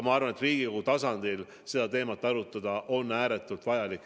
Ma arvan, et Riigikogu tasandil seda teemat arutada on ääretult vajalik.